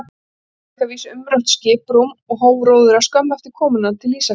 Ólafur fékk að vísu umrætt skiprúm og hóf róðra skömmu eftir komuna til Ísafjarðar.